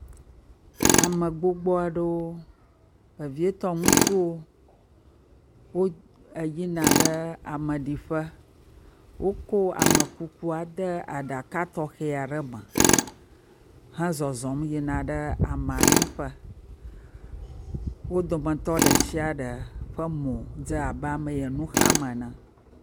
Ame gbogbo aɖewo, vevietɔ ŋutsuwo. Wo eyina ɖe ameɖiƒe. Woko amekukuada ɖe aɖaka tɔxɛ aɖe me. hezɔzɔm yina ɖe amea ɖiƒea. Wo dometɔ de shia ɖe ƒe modze abe ame yi ŋu xam ene.